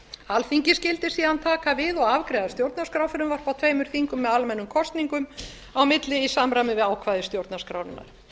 alþingi skyldi síðan taka við og afgreiða stjórnarskrárfrumvarp á tveimur þingum með almennum kosningum á milli í samræmi við ákvæði stjórnarskrárinnar